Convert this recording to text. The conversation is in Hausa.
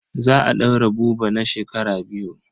Za a ɗaure Buba na shekara biyu.